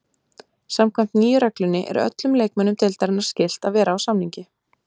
Samkvæmt nýju reglunni er öllum leikmönnum deildarinnar skylt að vera á samningi.